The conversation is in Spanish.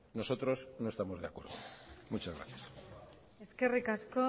nosotros no estamos de acuerdo muchas gracias eskerrik asko